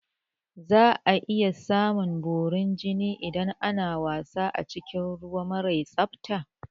Za a iya samun borin jini idan ana wasa a cikin ruwa mara tsafta